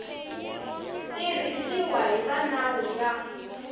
tiyisiwa hi va nawu ya